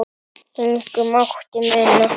Engu mátti muna.